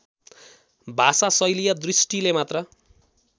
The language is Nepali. भाषाशैलीय दृष्टिले मात्र